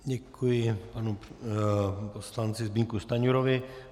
Děkuji panu poslanci Zbyňku Stanjurovi.